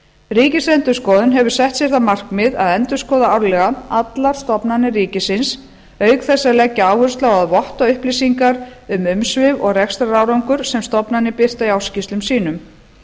ríkisendurskoðun hefur sett sér það markmið að endurskoða árlega allar stofnanir ríkisins auk þess að leggja áherslu á að votta upplýsingar um umsvif og rekstrarárangur sem stofnanir birta í ársskýrslum sínum